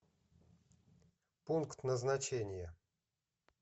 пункт назначения